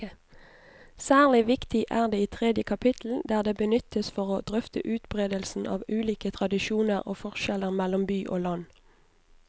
Særlig viktig er det i tredje kapittel, der det benyttes for å drøfte utbredelsen av ulike tradisjoner og forskjeller mellom by og land.